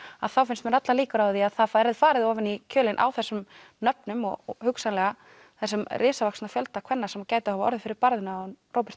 þá finnst mér allar líkur á að það verði farið ofan í kjölinn á þessum nöfnum og hugsanlega þessum risavaxna fjölda kvenna sem gætu hafa orðið fyrir barðinu á honum Robert